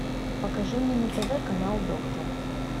покажи мне на тв канал доктор